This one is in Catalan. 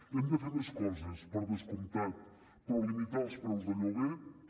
hem de fer més coses per descomptat però limitar els preus de lloguer també